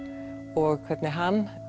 og hvernig hann